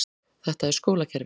Þetta er skólakerfið.